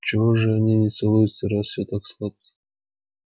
чего же они не целуются раз всё так сладко